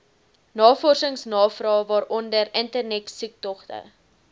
navorsingsnavrae waaronder internetsoektogte